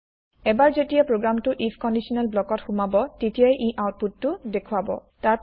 এবাৰ যেতিয়া প্ৰগ্ৰেমটো আইএফ কন্দিচনেল ব্লক ত সোমাব তেতিয়াই ই আউতপুত টো দেখোৱাব